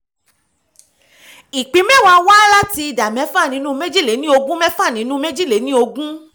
ìpín mẹ́wàá wá láti ìdá mẹ́fà nínú méjìléníogún mẹ́fà nínú méjìléníogún